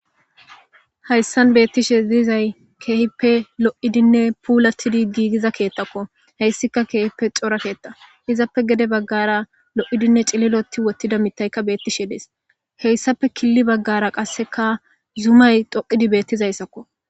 hayssan beettishe ziyizay keehippe lo7idinne puulatidi giigiza keettakko heyssika keehippe cora keetta izappe gede baggara lo7idinne cililoti wottida mitayka beettishe dees heyssappe killi baggara qasseka zumay toqidi beettizayssakko